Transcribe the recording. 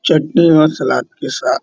चटनी और सलाद के साथ --